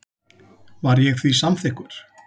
Var ég því samþykkur.